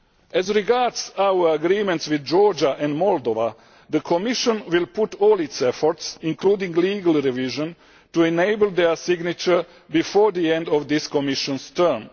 As regards our agreements with Georgia and Moldova, the Commission will put all its efforts, including legal revision, into enabling their signature before the end of this Commission's term.